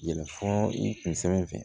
Yɛlɛ fɔ i kun sɛbɛn fɛ